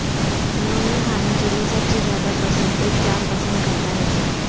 انہوں نے کھانے کے لئے سب سے زیادہ پسند ایک جام پسند کرتا ہے کہ